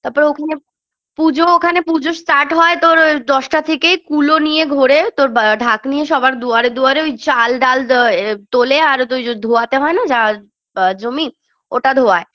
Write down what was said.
তারপরে ওখানে পূজো ওখানে পূজো start হয় তোর ওই দশটা থেকে কুলো নিয়ে ঘোরে তোর বা ঢাক নিয়ে সবার দুয়ারে দুয়ারে ওই চাল ডাল দ এ তোলে আর দ ওইযে ধোয়াতে হয়না জা বা জমি ওটা ধোওয়ায়